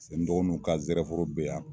paseke n dɔgɔnuw ka jɛrɛ foro be yan